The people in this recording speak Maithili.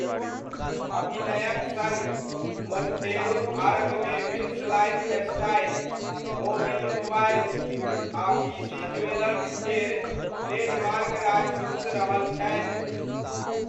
अभिनयक सङ्ग, मोण्टेरो भारतमे विल्स लाइफस्टाइल, मोविल मोबाइल्स, आ पीसी ज्वेलर्स केर ट्रेडमार्क राजदूत रहल छथि।